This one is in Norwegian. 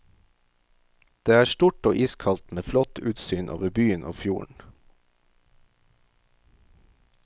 Det er stort og iskaldt, med flott utsyn over byen og fjorden.